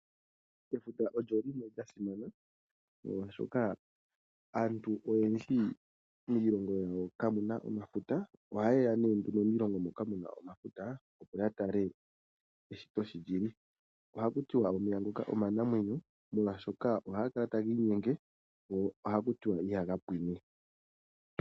Efuta olyo limwe lyasimana molwashoka aantu oyendji miilongo yawo kamuna omafuta, ohayeya ne miilongo moka muna omafuta yoyatale eshito sholyili. Ohakutiwa omeya ngoka omanamwenyo, molwashoka ohagakala taga inyenge go ohakutiwa ihagapwiine.